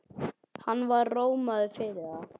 Hann var rómaður fyrir það.